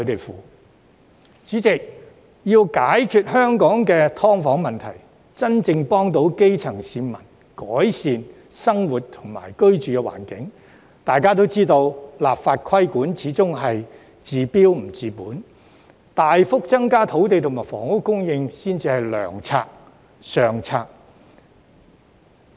代理主席，要解決香港的"劏房"問題，真正幫助基層市民改善生活和居住環境，大家也知道立法規管始終是治標不治本，大幅增加土地及房屋供應才是良策、上策。